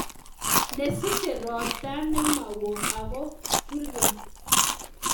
Nesiche ropta nemowo ako burkei